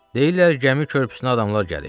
Deyirlər gəmi körpüsünə adamlar gəlib.